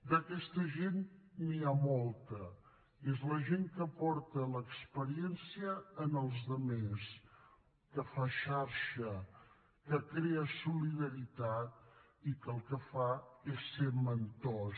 d’aquesta gent n’hi ha molta és la gent que aporta l’experiència als altres que fa xarxa que crea solidaritat i que el que fa és ser mentors